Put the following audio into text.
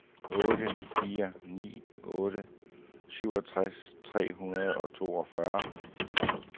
otte fire ni otte syvogtres tre hundrede og toogfyrre